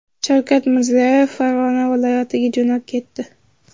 Shavkat Mirziyoyev Farg‘ona viloyatiga jo‘nab ketdi.